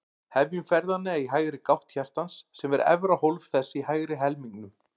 Hefjum ferðina í hægri gátt hjartans, sem er efra hólf þess í hægri helmingnum.